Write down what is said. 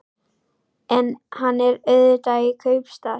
En hann er auðvitað í kaupstað.